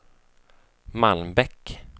Malmbäck